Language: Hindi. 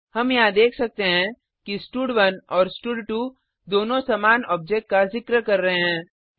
हम यहाँ देख सकते हैं कि स्टड1 और स्टड2 दोनों समान ऑब्जेक्ट का जिक्र कर रहे हैं